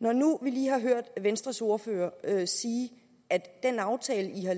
når nu vi lige har hørt venstres ordfører sige at den aftale